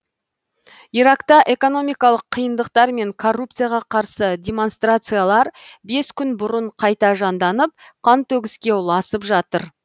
иракта экономикалық қиындықтар мен коррупцияға қарсы демонстрациялар бес күн бұрын қайта жанданып қантөгіске ұласып жатыр